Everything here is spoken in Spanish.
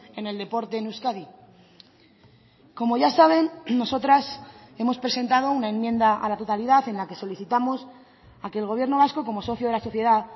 en el deporte en euskadi como ya saben nosotras hemos presentado una enmienda a la totalidad en la que solicitamos a que el gobierno vasco como socio de la sociedad